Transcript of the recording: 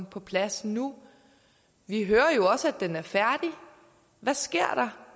på plads nu vi hører jo også at den er færdig hvad sker